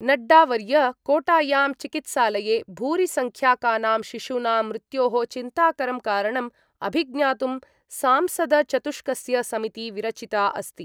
नड्डावर्य कोटायां चिकित्सालये भूरिसंख्याकानां शिशूनां मृत्योः चिन्ताकरं कारणम् अभिज्ञातुं सांसदचतुष्कस्य समिति विरचिता अस्ति।